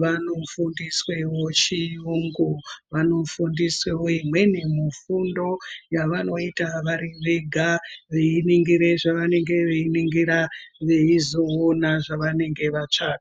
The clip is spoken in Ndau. vanofundiswawo chiyungu , vanofundiswawo imweni mifundo yavanoita vari vega vainingire zvavanenge vainingire vaizoona zvavanenge vatsvaka.